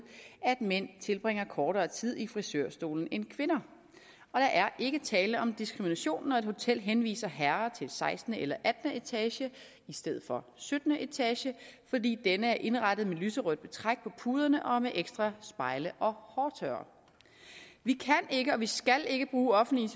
at mænd tilbringer kortere tid i frisørstolen end kvinder og der er ikke tale om diskrimination når et hotel henviser herrer til sekstende eller attende etage i stedet for syttende etage fordi denne er indrettet med lyserødt betræk på puderne og med ekstra spejle og hårtørrere vi kan ikke og vi skal ikke bruge offentlige